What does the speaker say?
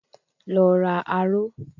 Lọ ra aró.